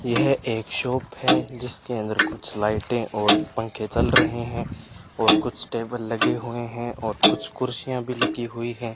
यह एक शॉप है जिसके अंदर कुछ लाइटे और पंखे चल रहे है और कुछ टेबल लगे हुए है और कुछ कुर्सियां भी लगी हुई है।